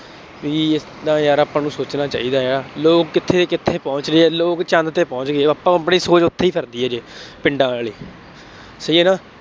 ਬਈ ਏਦਾਂ ਯਾਰ ਆਪਾਂ ਨੂੰ ਸੋਚਣਾ ਚਾਹੀਦਾ ਹੈ। ਲੋਕ ਕਿੱਥੇ ਕਿੱਥੇ ਪਹੁੰਚ ਗਏ ਅਤੇ ਲੋਕ ਚੰਦ ਤੇ ਪਹੁੰਚ ਗਏ। ਆਪਾਂ ਆਪਣੀ ਸੋਚ ਉੱਥੇ ਹੀ ਕਰਦੀ ਹੈ। ਪਿੰਡਾਂ ਆਲੀ ਸਹੀ ਹੈ ਨਾ,